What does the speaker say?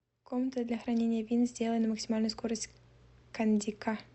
комната для хранения вин сделай на максимальную скорость кондика